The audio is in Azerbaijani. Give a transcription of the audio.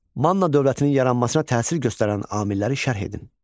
Manna dövlətinin yaranmasına təsir göstərən amilləri şərh edin.